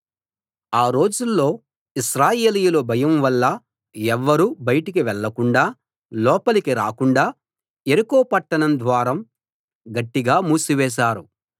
ఆ రోజుల్లో ఇశ్రాయేలీయుల భయం వల్ల ఎవ్వరూ బయటికి వెళ్ళకుండా లోపలికి రాకుండా యెరికో పట్టణ ద్వారం గట్టిగా మూసివేశారు